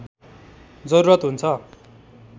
जरुरत हुन्छ